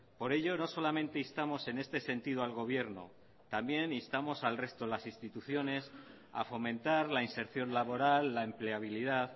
por ello no solamente instamos en este sentido al gobierno también instamos al resto de las instituciones a fomentar la inserción laboral la empleabilidad